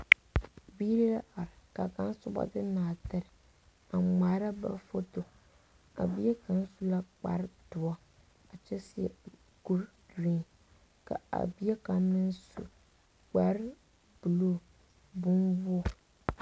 Biire la are. Ka kang subɔ de nartir a ŋmaara ba foto. A bie kang su la kpar duoɔ a kyɛ seɛ kur gren. Ka a bie kang meŋ su kpar buluu boŋ woge